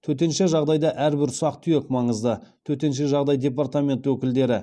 төтенше жағдайда әрбір ұсақ түйек маңызды төтенше жағдай департамент өкілдері